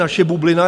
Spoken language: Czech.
Naše bublina?